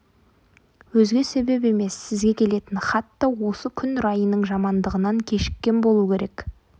өзге себеп емес сізге келетін хат та осы күн райының жамандығынан кешіккен болу керек